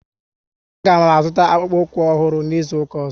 A ga m azuta akpukpu ukwu ọhụrụ n'izuka ọzọ